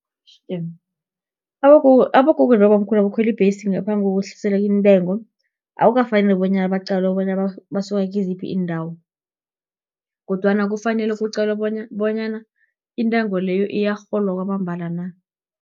Abogogo, nabobamkhulu, abakhweli ibhesi ngaphambi kokwehliselwa intengo, akukafaneli bonyana baqalwe bonyana basuka kiziphi iindawo, kodwana kufanele kuqalwe bonyana intengo leyo, iyarholwa kwamambala na.